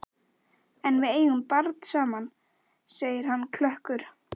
En við eigum barn saman, segir hann klökkur.